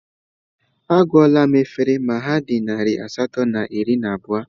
Agụọla m efere ma ha dị narị asatọ na iri na abụọ